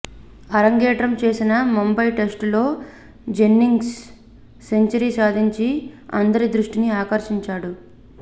అరంగేట్రం చేసిన ముంబై టెస్టులో జెన్నింగ్స్ సెంచరీ సాధించి అందరి దృష్టిని ఆకర్షించాడు